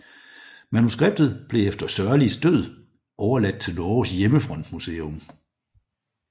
Manuskriptet blev efter Sørlis død overladt til Norges Hjemmefrontmuseum